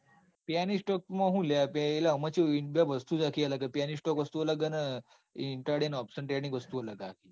Penny stock માં સુ લ્યા. એટલે ઑમો ચેવું. વસ્તુ જ આખી અલગ હ penny stock વસ્તુ અલગ હન intraday option trading વસ્તુ અલગ હ.